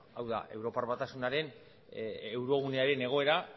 hau da europar batasunaren eurogunearen egoera